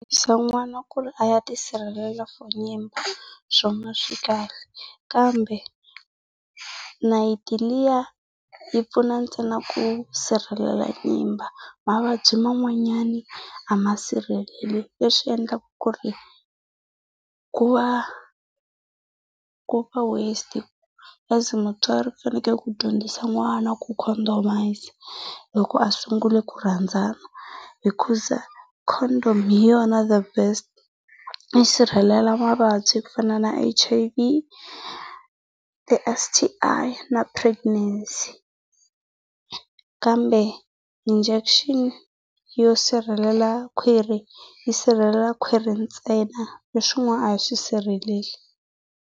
ku ri a ya tisirhelela for nyimba swona swi kahle kambe nayiti liya yi pfuna ntsena ku sirhelela nyimba, mavabyi man'wanyana a ma sirheleki. Leswi endlaka ku ri ku va ku va waste. As mutswari u fanekele ku dyondzisa n'wana ku condomise loko a sungule ku rhandzana. Hikuza condom hi yona the best, yi sirhelela mavabyi ku fana na H_I_V, ti-S_T_I na pregnancy. Kambe injection yo sirhelela kwhiri yi sirhelela khwiri ntsena, leswin'wana a yi swi sirheleli.